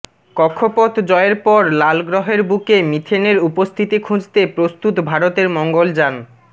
কক্ষপথ জয়ের পর লালগ্রহের বুকে মিথেনের উপস্থিতি খুঁজতে প্রস্তুত ভারতের মঙ্গলযান